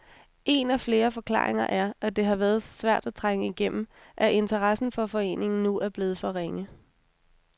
En af flere forklaringer er, at det har været så svært at trænge igennem, at interessen for foreningen nu er blevet for ringe.